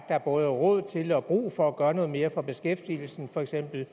der både er råd til og brug for at gøre noget mere for beskæftigelsen for eksempel